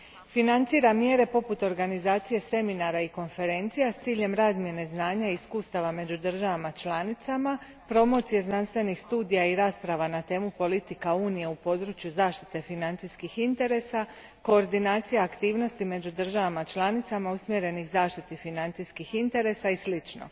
Financira mjere poput organizacije seminara i konferencija s ciljem razmjene znanja i iskustava među državama članicama, promocije znanstvenih studija i rasprava na temu politika Unije u području zaštite financijskih interesa, koordinacije aktivnosti među državama članicama usmjerenih zaštiti financijskih interesa i slično.